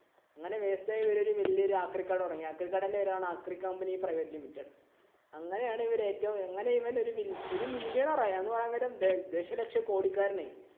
അങ്ങനെ waste ആയ ഇവര് ഒരു വല്യ ആക്രികട തുടങ്ങി. അക്രികടേടെ പേരാണ് ആക്രി company private limited. അങ്ങനെ ആണ് ഇവര് ഏറ്റവും millionre ആയി എന്ന് പറയാം നേരം ദശലക്ഷകോടിക്കാരന്‍ ആയി.